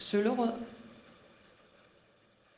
Søllerød